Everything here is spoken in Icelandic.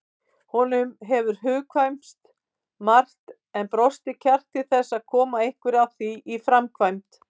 Honum hefur hugkvæmst margt en brostið kjark til að koma einhverju af því í framkvæmd.